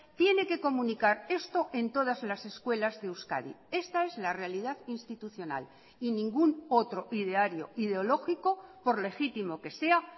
tiene que comunicar esto en todas las escuelas de euskadi esta es la realidad institucional y ningún otro ideario ideológico por legítimo que sea